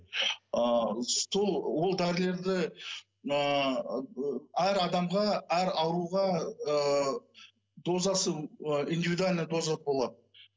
ы сол ол дәрілерді мына ыыы әр адамға әр ауруға ыыы дозасы ы индивидуальная доза болады